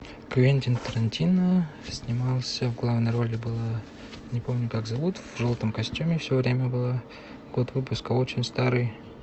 квентин тарантино снимался в главной роли была не помню как зовут в желтом костюме все время была год выпуска очень старый